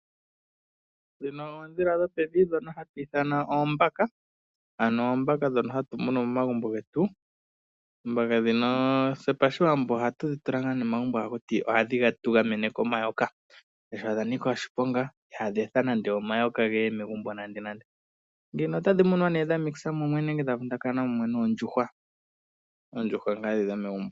Dhino oodhila dhopevi dhono hatu ithana oombaka. Ano oombaka dhono hatu munu momagumbo getu. Oombaka dhino pashiwambo ohatu dhi tula ngaa momagumbo hatuti ohadhi tu gamene komayoka. Odha nika oshiponga ihadhi etha nande omayoka geye megumbo nande nande. Dhino otadhi munwa mumwe nee dha vundakana mumwe noondjuhwa, oondjuhwa ngaa dhi dhomegumbo.